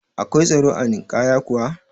Akwai tsaro a Ninkaya kuwa?